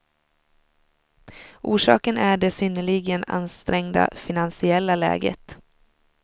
Orsaken är det synnerligen ansträngda finansiella läget.